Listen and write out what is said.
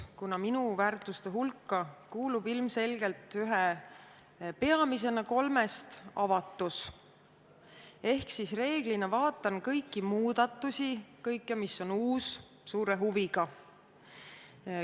Kuna minu väärtuste hulka kuulub ilmselgelt ühe peamisena avatus, siis reeglina vaatan kõiki muudatusi, kõike, mis on uus, suure huviga.